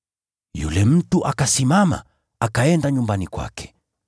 Yule mtu akasimama, akaenda nyumbani kwake.